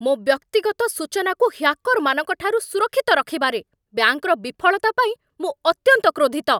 ମୋ ବ୍ୟକ୍ତିଗତ ସୂଚନାକୁ ହ୍ୟାକର୍‌ମାନଙ୍କ ଠାରୁ ସୁରକ୍ଷିତ ରଖିବାରେ ବ୍ୟାଙ୍କର ବିଫଳତା ପାଇଁ ମୁଁ ଅତ୍ୟନ୍ତ କ୍ରୋଧିତ।